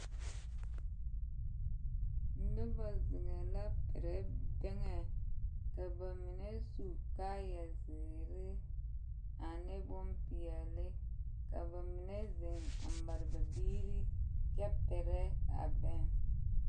Noba zeŋɛɛ la perɛ bɛŋɛ ka ba mine su kaayɛziiri ane bompeɛle ka ba mine zeŋ mare ba biiri kyɛ perɛ a bɛŋ.